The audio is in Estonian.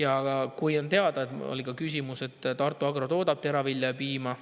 On teada – oli ka küsimus –, et Tartu Agro toodab teravilja ja piima.